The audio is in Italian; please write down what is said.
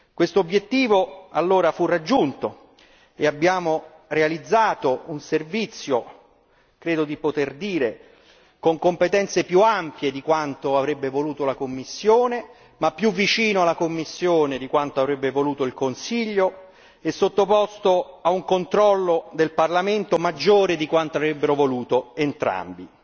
Questo obiettivo allora fu raggiunto e abbiamo realizzato un servizio credo di poter dire con competenze più ampie di quanto avrebbe voluto la Commissione, ma più vicino alla Commissione di quanto avrebbe voluto il Consiglio e sottoposto a un controllo del Parlamento maggiore di quanto avrebbero voluto entrambi.